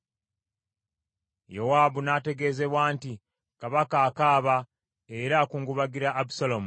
Yowaabu n’ategeezebwa nti, “Kabaka akaaba era akungubagira Abusaalomu.”